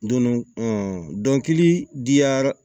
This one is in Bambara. Don ɔ dɔnkili da yɔrɔ